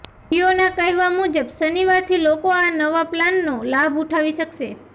જીયોના કહેવા મુજબ શનિવારથી લોકો આ નવા પ્લાનનો લાભ ઉઠાવી શકશે